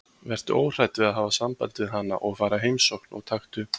Vertu óhrædd við að hafa samband við hana og fara í heimsókn og taktu